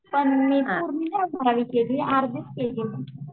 पण मी पूर्ण नाही दहावी केली अर्धीच केली मी